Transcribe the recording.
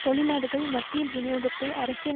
தொழிலாளர்கள் மத்தியில் விநியோகித்தமை அரசியல்